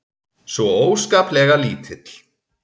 Svo óskaplega lítill.